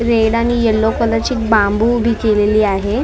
Red आणि yellow colour ची बांबू बिखरली आहे.